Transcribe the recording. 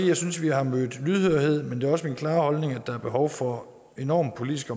jeg synes vi har mødt lydhørhed men det er også min klare holdning at der er behov for enorm politisk